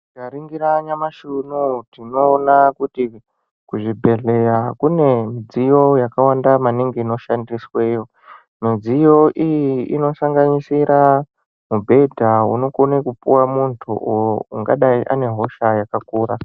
Tikaringira nyamashi unowu tinoona kuti kuzvibhedhleya kune midziyo yakawanda maningi inoshandisweyo, midziyo iyi inosanganisira mibhedha unokone kupuwa muntu uwo ungadai une hosha yakakura.